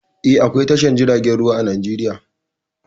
Eh, akwao tashar jiragen ruwa a Najeriya.